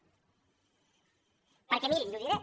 perquè mirin i ho diré